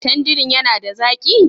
Tandirin yana da zaƙi?